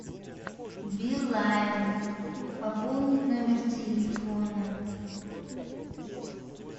билайн пополнить номер телефона